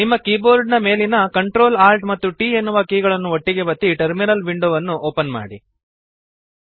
ನಿಮ್ಮ ಕೀಬೋರ್ಡ್ ಮೇಲಿನ Ctrl Alt ಮತ್ತು T ಎನ್ನುವ ಕೀಗಳನ್ನು ಒಟ್ಟಿಗೇ ಒತ್ತಿ ಟರ್ಮಿನಲ್ ವಿಂಡೋವನ್ನು ಓಪನ್ ಮಾಡಿರಿ